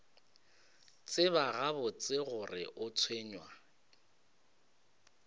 tseba gabotse gore o tshwenywa